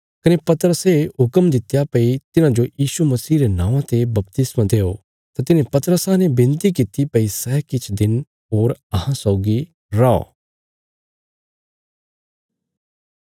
कने पतरसे हुक्म दित्या भई तिन्हांजो यीशु मसीह रे नौआं ते बपतिस्मा देओ तां तिन्हें पतरसा ने विनती किति भई सै किछ दिन होर अहां सौगी रौ